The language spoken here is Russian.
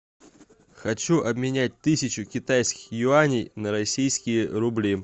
хочу обменять тысячу китайских юаней на российские рубли